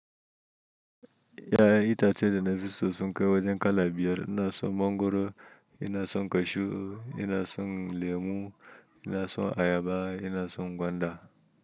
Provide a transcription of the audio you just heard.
Ya yan ita ce da nafi so sun kai wajen kala biyar. Ina son mangoro, ina son kashu, ina son lemu, ina son ayaba, ina son gwanda.